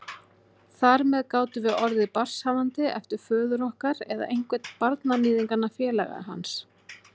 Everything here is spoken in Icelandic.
Þar með gátum við orðið barnshafandi eftir föður okkar eða einhvern barnaníðinganna, félaga hans.